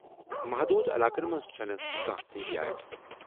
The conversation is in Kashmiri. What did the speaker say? محدوٗد علاقن منٛز چھنہٕ کانٛہہ استثنیات۔